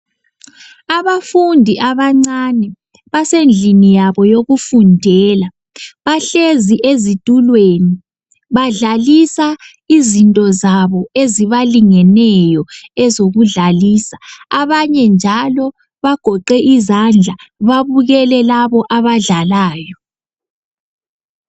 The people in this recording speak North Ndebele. Abafundi abancane basendlini yabo yokufundela. Bahlezi ezitulweni badlalisa izinto zabo ezibalingeneyo ezokudlalisa abanye njalo bagoqe izandla babukele labo abadlalayo.